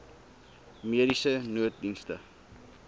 mediese nooddienste